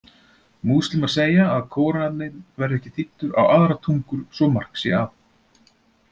Múslímar segja að Kóraninn verði ekki þýddur á aðrar tungur svo mark sé að.